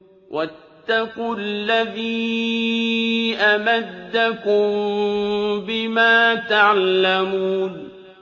وَاتَّقُوا الَّذِي أَمَدَّكُم بِمَا تَعْلَمُونَ